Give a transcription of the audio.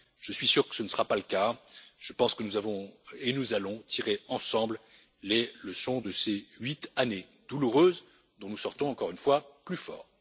Je suis sûr que ce ne sera pas le cas, je pense que nous avons tiré et que nous allons tirer ensemble les leçons de ces huit années douloureuses, dont nous sortons, encore une fois, plus forts.